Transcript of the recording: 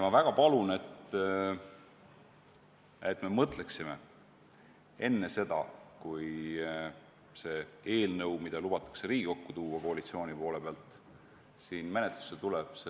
Ma väga palun, et me mõtleksime enne seda, kui see eelnõu, mille koalitsiooni pool lubab Riigikokku tuua, siin menetlusse tuleb!